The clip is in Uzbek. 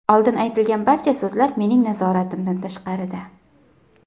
Oldin aytilgan barcha so‘zlar mening nazoratimdan tashqarida.